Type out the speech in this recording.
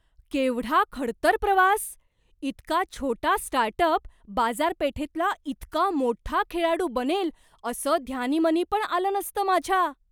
केवढा खडतर प्रवास! इतका छोटा स्टार्टअप बाजारपेठेतला इतका मोठा खेळाडू बनेल असं ध्यानीमनी पण आलं नसतं माझ्या.